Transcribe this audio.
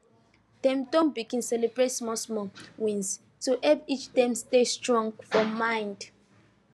dem don begin celebrate smallsmall wins to help each dem stay strong for mind